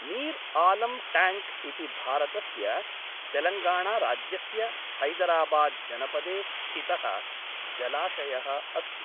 Mir Alam tank इति भारतस्य तेलङ्गाणाराज्यस्य हैदराबाद्जनपदे स्थितः जलाशयः अस्ति।